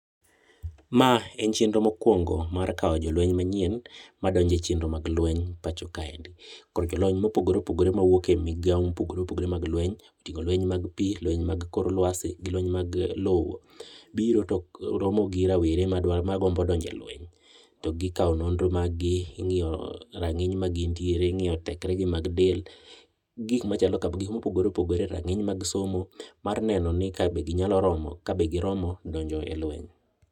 ma en chenro mokuongo ma kawo jolweny manyien madonje chenro mag lweny pacho kae, ikao jolony mopogore opogore mawuok ei migao mopogore opogore mag lweny motingo jolweny mag pi, jolweny mag kor lwasi ,jo lweny mag lo, biro to romo gi rowere magombo donjo e lweny kendo ikawo nonro mag gi ,ing'iyo ranginy magintie ,ing'iyo tekre gi mag del gi gik mopogore opogore rang'iny mar somo mar ne ka be giromo donjo e lweny.